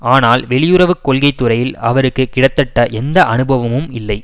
ஆனால் வெளியுறவு கொள்கை துறையில் அவருக்கு கிடத்தட்ட எந்த அனுபவமும் இல்லை